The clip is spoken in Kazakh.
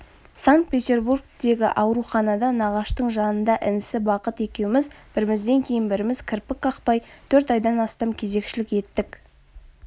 санкт-петербургтегі ауруханада нағаштың жанында інісі бақыт екеуміз бірімізден кейін біріміз кірпік қақпай төрт айдан астам кезекшілік еттік